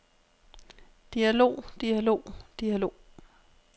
dialog dialog dialog